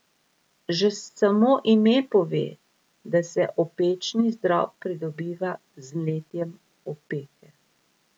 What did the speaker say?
Že samo ime pove, da se opečni zdrob pridobiva z mletjem opeke.